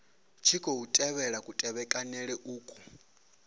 tshi khou tevhelwa kutevhekanele uku